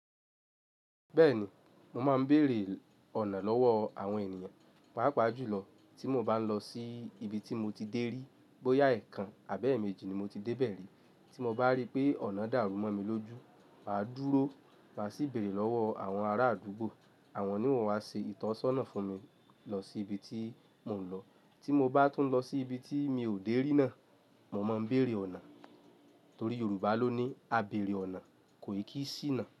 Bẹ́ẹ̀ni, mo máa ń bèrè ọ̀nà lọ́wọ́ àwọn ènìyàn, pàápàá jùlọ tí mo bá ń lọ sí ibi tí mo ti dé rí, bóyá ẹ̀ẹ̀kan àbẹ́ẹ̀ méjì ni mo ti dé bẹ̀rẹ̀ rí. Tí mo bá rí pé ọ̀nà dàrú mọ́ mi lójú, mà á dúró, mà sì bèrè lọ́wọ́ àwọn ará àdúgbò, àwọn ni wọ́n á ṣe ìtọ́sọ́nà fún mi lọ sí ibi tí mò ń lọ. Tí mo bá tún lọ sí ibi tí mi ò dé rí náà, mo máa ń bèrè ọ̀nà. Torí Yorùbá ló ní "Àbéèrè ọ̀nà kò i kí sìnáà".